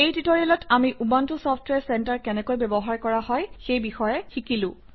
এই টিউটৰিয়েলত আমি উবুণ্টু চফট্ৱেৰ চেণ্টাৰ কেনেকৈ ব্যৱহাৰ কৰা হয় সেই বিষয়ে শিকিলো